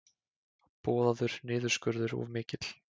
Boðaður niðurskurður of mikill